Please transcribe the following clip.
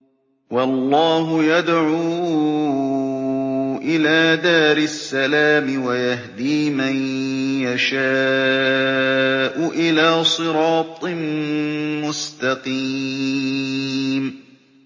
وَاللَّهُ يَدْعُو إِلَىٰ دَارِ السَّلَامِ وَيَهْدِي مَن يَشَاءُ إِلَىٰ صِرَاطٍ مُّسْتَقِيمٍ